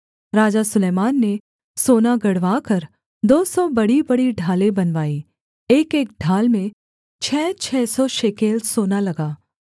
राजा सुलैमान ने सोना गढ़वाकर दो सौ बड़ीबड़ी ढालें बनवाई एकएक ढाल में छः छः सौ शेकेल सोना लगा